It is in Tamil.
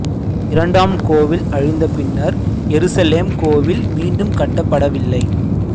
இரண்டாம் கோவில் அழிந்த பின்னர் எருசலேம் கோவில் மீண்டும் கட்டப்படவில்லை